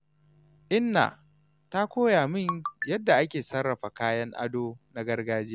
Inna ta koya min yadda ake sarrafa kayan ado na gargajiya.